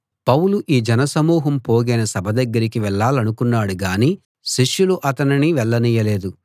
పౌలు ఆ జనసమూహం పోగైన సభ దగ్గరికి వెళ్ళాలనుకున్నాడు గాని శిష్యులు అతనిని వెళ్ళనియ్యలేదు